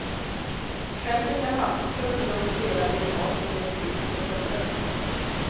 Själv fick jag halsfluss och låg och stirrade i taket i ett trist hotellrum.